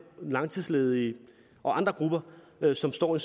langtidsledige og andre grupper som står i